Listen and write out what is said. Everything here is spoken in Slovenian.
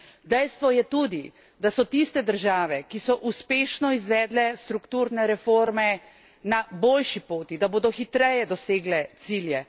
Dejstvo je tudi, da so tiste države, ki so uspešno izvedele strukturne reforme, na boljši poti, da bodo hitreje dosegle cilje.